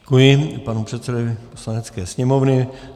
Děkuji panu předsedovi Poslanecké sněmovny.